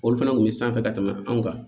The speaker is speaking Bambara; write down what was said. Olu fana kun bɛ sanfɛ ka tɛmɛ anw kan